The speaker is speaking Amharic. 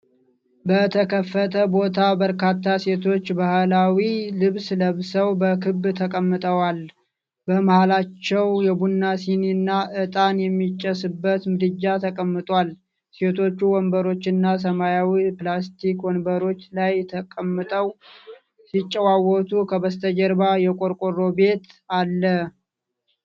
በተከፈተ ቦታ፣ በርካታ ሴቶች ባህላዊ ልብስ ለብሰው በክብ ተቀምጠዋል። በመሃከላቸው የቡና ሲኒና ዕጣን የሚጨስበት ምድጃ ተቀምጧል። ሴቶቹ ወንበሮችና ሰማያዊ ፕላስቲክ ወንበሮች ላይ ተቀምጠው ሲጨዋወቱ ከበስተጀርባ የቆርቆሮ ቤት አለ።